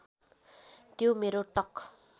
त्यो मेरो टक